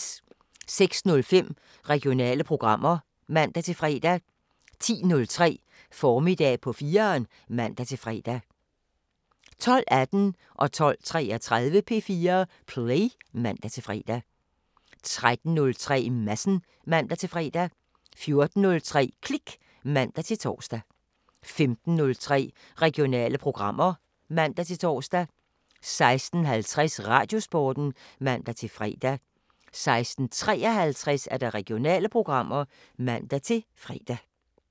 06:05: Regionale programmer (man-fre) 10:03: Formiddag på 4'eren (man-fre) 12:18: P4 Play (man-fre) 12:33: P4 Play (man-fre) 13:03: Madsen (man-fre) 14:03: Klik (man-tor) 15:03: Regionale programmer (man-tor) 16:50: Radiosporten (man-fre) 16:53: Regionale programmer (man-fre)